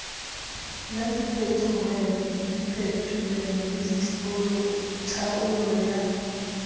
la diphetolelo le tlhaolo ya